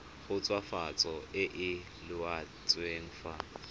khutswafatso e e laotsweng fa